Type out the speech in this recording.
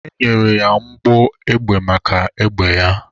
E nyere ya mbọ egbe maka egbe ya.